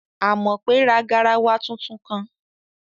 Àmọ̀pé ra garawa tuntun kan